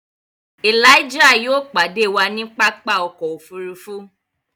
Elijah yóò padẹ wà ni pápá ọkọ̀ òfurufú